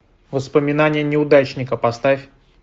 воспоминания неудачника поставь